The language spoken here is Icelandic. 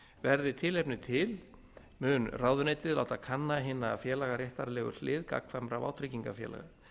verði tilefni til mun ráðuneytið láta kanna hina félagaréttarlegu hlið gagnkvæmra vátryggingafélaga